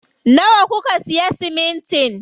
Nawa kuka siya siminti?